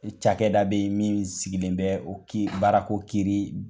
ni cakɛda be ye min sigilen bɛ o ki baarako kiiri